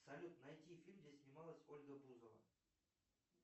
салют найти фильм где снималась ольга бузова